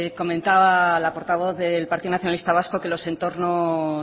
comentaba la portavoz del partido nacionalista vasco que los entornos